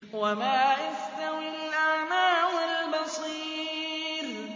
وَمَا يَسْتَوِي الْأَعْمَىٰ وَالْبَصِيرُ